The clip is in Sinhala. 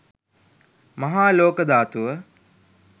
මහා ලෝක ධාතුව